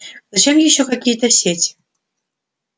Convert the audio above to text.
зачем ещё какие-то сети